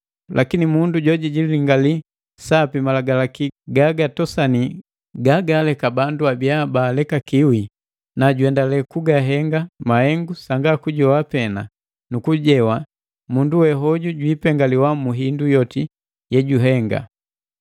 Lakini mundu jojijilingali sapi malagalaki gagatosani gagaaleka bandu abiya baalekakiwi, najuendale kugahenge mahengu sanga kujoa pena nukujewa, mundu we hoju jwipengaliwa mu hindu yoti yejuhenga.